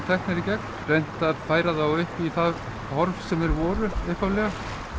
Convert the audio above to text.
teknir í gegn reynt að færa þá í það horf sem þeir voru í upphaflega